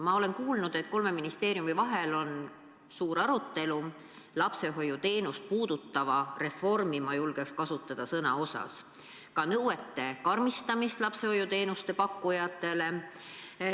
Ma olen kuulnud, et kolme ministeeriumi vahel on suur arutelu lapsehoiuteenust puudutava reformi – ma julgeks kasutada seda sõna – üle, ka lapsehoiuteenuse pakkujatele esitatavate nõuete karmistamise üle.